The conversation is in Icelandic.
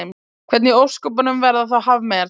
Hvernig í ósköpunum verða þá hafmeyjar til?